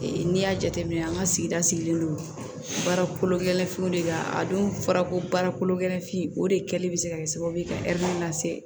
n'i y'a jateminɛ an ka sigida sigilen don baara kolo gɛlɛn finw de la a don fɔra ko baara kolo gɛlɛn fin o de kɛlen bɛ se ka kɛ sababu ye ka lase